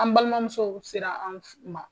An balimamuso sera an ma